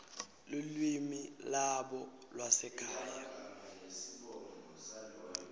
lulwimi lwabo lwasekhaya